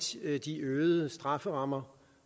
de øgede strafferammer